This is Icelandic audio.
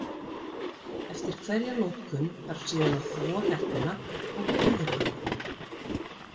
Eftir hverja notkun þarf síðan að þvo hettuna og púðra hana.